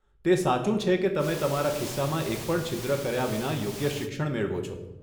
તે સાચું છે કે તમે તમારા ખિસ્સામાં એક પણ છિદ્ર કર્યા વિના યોગ્ય શિક્ષણ મેળવો છો.